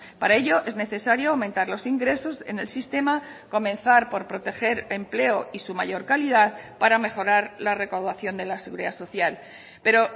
para ello es necesario aumentar los ingresos en el sistema comenzar por proteger empleo y su mayor calidad para mejorar la recaudación de la seguridad social pero